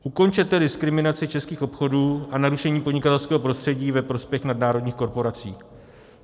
Ukončete diskriminaci českých obchodů a narušení podnikatelského prostředí ve prospěch nadnárodních korporací.